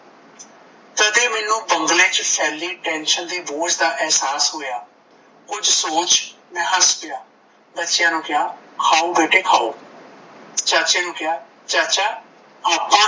ਬੰਗਲੇ ਚ ਫੈਲੀ tension ਦੀ ਬੋਝ ਦਾ ਮੈਨੂੰ ਅਹਿਸਾਸ ਹੋਇਆ ਕੁਝ ਸੋਚ ਮੈਂ ਹੱਸ ਪਿਆ ਬੱਚਿਆਂ ਨੂੰ ਕਿਹਾ ਖਾਓ ਬੇਟੇ ਖਾਓ ਚਾਚੇ ਨੂੰ ਕਿਹਾ ਚਾਚਾ ਆਪਾਂ